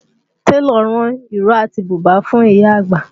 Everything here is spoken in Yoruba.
Télọ̀ rán ìró àti bùbá fún ìyá àgbà